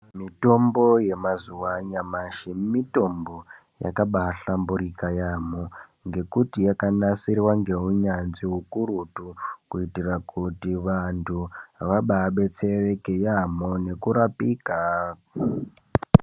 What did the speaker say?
Mitombo yamazuwa anyamashi mitombo yakaba yahlamburika yaamho ngekuti yakanasirwa ngeunyanzvi ukurutu kuitira kuti vanhu vaba abetsereke yaamho nekurapika.